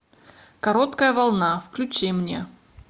короткая волна включи мне